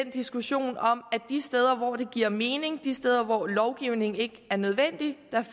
diskussionen om at de steder hvor det giver mening og de steder hvor lovgivning ikke er nødvendig